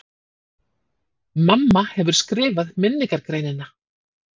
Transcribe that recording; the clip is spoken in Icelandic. MAMMA HEFUR SKRIFAÐ MINNINGARGREININA!